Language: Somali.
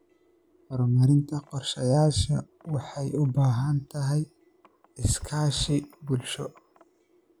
Hirgelinta qorshayaasha waxay u baahan tahay iskaashi bulsho.